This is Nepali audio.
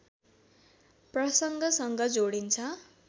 प्रसङ्गसँग जोडिन्छ